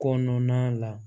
Kɔnɔna la